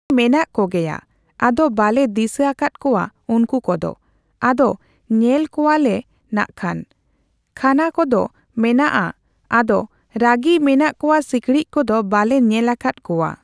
ᱢᱮᱱᱟᱜ ᱠᱚᱜᱮᱭᱟ ᱟᱫᱚ ᱵᱟᱞᱮ ᱫᱤᱥᱟᱹ ᱟᱠᱟᱫ ᱠᱚᱣᱟ ᱩᱱᱠᱩ ᱠᱚᱫᱚ ᱾ ᱟᱫᱚ ᱧᱮᱞ ᱠᱚᱣᱟᱞᱮ ᱱᱟᱜᱠᱷᱟᱱ ᱾ ᱠᱷᱟᱱᱟ ᱠᱚᱫᱚ ᱢᱮᱱᱟᱜᱼᱟ ᱟᱫᱚ ᱨᱟᱜᱤ ᱢᱮᱱᱟᱜ ᱠᱚᱣᱟ ᱥᱤᱠᱲᱤᱡ ᱠᱚᱫᱚ ᱵᱟᱞᱮ ᱧᱮᱞ ᱟᱠᱟᱫ ᱠᱚᱣᱣᱟ ᱾